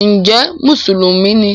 ǹjẹ́ “mùsùlùmí” ni?